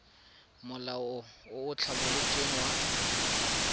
molao o o tlhabolotsweng wa